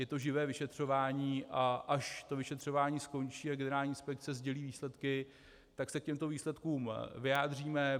Je to živé vyšetřování, a až to vyšetřování skončí a generální inspekce sdělí výsledky, tak se k těmto výsledkům vyjádříme.